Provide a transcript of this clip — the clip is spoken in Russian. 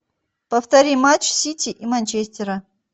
повтори матч сити и манчестера